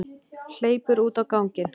Hleypur út á ganginn.